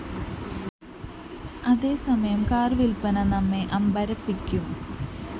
അതേസമയം കാർ വില്പ്പന നമ്മെ അമ്പരപ്പിക്കും